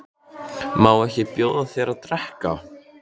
Má ekki bjóða þér að drekka?